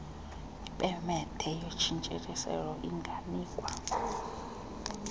ipemethe yotshintshiselwano inganikwa